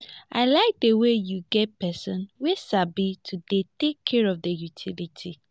i like the way you get person wey sabi to dey take care of the utilities